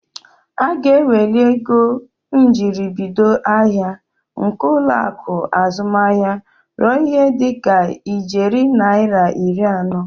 Aga eweli ego njiribido ahịa nke ụlọaku azụmahịa ruo ihe dịka ijeri naira iri anọ.